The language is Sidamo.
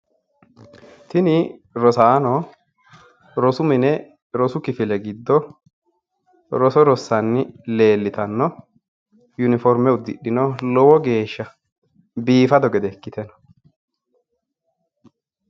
Tini rosaano rosu mine rosu kifile giddo roso rossanni leellitanno. yuniform uddidhino. lowo geeshsha biifado gede ikkite no.